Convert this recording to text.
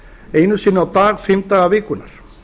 einu sinni á dag fimm daga vikunnar